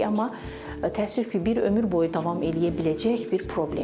Amma təəssüf ki, bir ömür boyu davam eləyə biləcək bir problemdir.